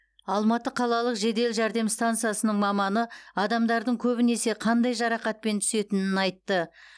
алматы қалалық жедел жәрдем стансасының маманы адамдардың көбінесе қандай жарақатпен түсетінін айтты